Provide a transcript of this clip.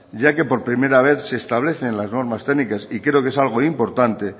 ya que por primera vez se establecen las normas técnicas y creo que es algo importante